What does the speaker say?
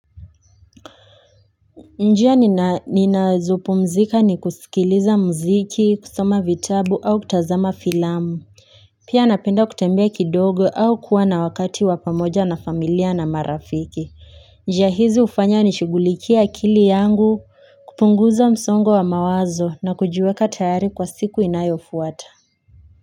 Njia ninazo pumzika ni kusikiliza mziki kusoma vitabu au kutazama filamu Pia napenda kutembea kidogo au kuwa na wakati wa pamoja na familia na marafiki njia hizi ufanya nishugulikie akili yangu kupunguza msongo wa mawazo na kujiweka tayari kwa siku inayo fuata.